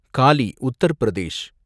Galle, Uttar Pradesh